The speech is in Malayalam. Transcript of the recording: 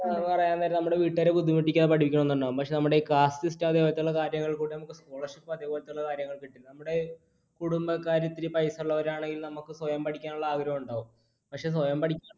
പറയാൻ നേരം നമ്മുടെ വീട്ടുകാരെ ബുദ്ധിമുട്ടിക്കാതെ പഠിക്കണമെന്നുണ്ടാവും. പക്ഷേ നമ്മുടെ, caste system അതുപോലത്തെ ഉള്ള കാര്യങ്ങൾ മൂലം, scholarship അതുപോലെയുള്ള കാര്യങ്ങൾ കിട്ടില്ല. ഇവിടെ കുടുംബക്കാര് ഇത്തിരി പൈസ ഉള്ളവരാണെങ്കിൽ, നമുക്ക് സ്വയം പഠിക്കുവാനുള്ള ആഗ്രഹമുണ്ടാകും. പക്ഷേ സ്വയം പഠിക്കുവാനുള്ള